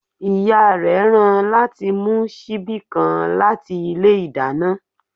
Ìyá rẹ̀ rán láti mú síbi kan láti ilé ìdáná